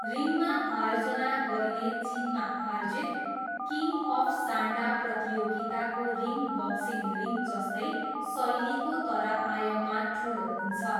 रिङमा आयोजना गरिने चिनमा आयोजित किङ्ग अफ सान्डा प्रतियोगिताको रिङ बक्सिङ रिङ जस्तै शैलीको तर आयाममा ठुलो हुन्छ।